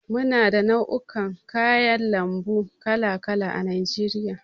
Muna da nau'ikan kayan lambu kala kala a najeriya.